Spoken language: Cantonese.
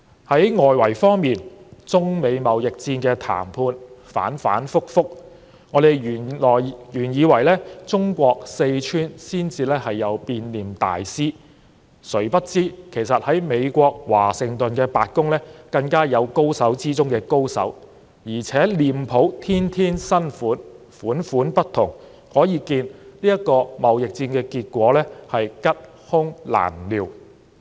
在外圍方面，中美貿易戰的談判反反覆覆，原本以為中國四川才有變臉大師，誰不知美國華盛頓白宮更有高手之中的高手，而且臉譜天天新款、款款不同，可見貿易戰的結果是吉凶難料。